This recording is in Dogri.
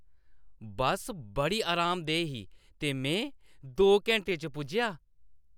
बस्स बड़ी आरामदेह् ही ते में दो घैंटे च पुज्जेआ।